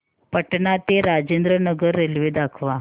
पटणा ते राजेंद्र नगर रेल्वे दाखवा